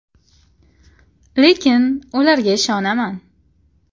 Lekin ularga ishonaman.